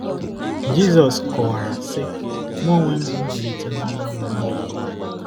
Jizọs kọwara, sị: “ Mụ onwe m bụ mbilite n'ọnwụ na ndụ.